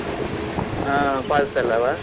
ಹಾ falls ಎಲ್ಲವ?